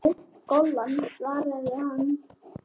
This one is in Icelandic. Já, golan svaraði hann.